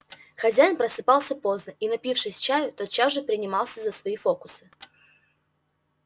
хозяин просыпался поздно и напившись чаю тотчас же принимался за свои фокусы